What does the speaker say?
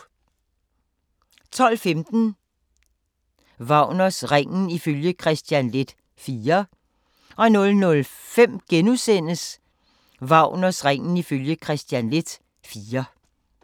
12:15: Wagners Ringen ifølge Kristian Leth IV 00:05: Wagners Ringen ifølge Kristian Leth IV *